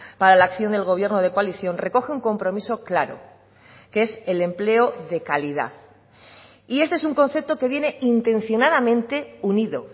para la acción del gobierno de coalición recoge un compromiso claro que es el empleo de calidad y este es un concepto que viene intencionadamente unido